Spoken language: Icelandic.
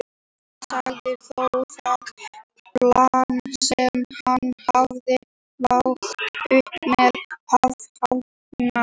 Hann sagði þó það plan sem hann hafði lagt upp með hafa heppnast.